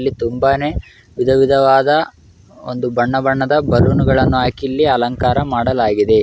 ಇಲ್ಲಿ ತುಂಬಾನೇ ವಿಧ ವಿಧವಾದ ಒಂದು ಬಣ್ಣ ಬಣ್ಣದ ಬಲೂನ್ಗಳನ್ನೂ ಹಾಕಿ ಇಲ್ಲಿ ಅಲಂಕಾರ ಮಾಡಲಾಗಿದೆ.